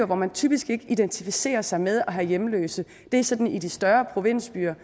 hvor man typisk ikke identificerer sig med at have hjemløse det er sådan i de større provinsbyer